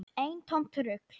Eintómt rugl.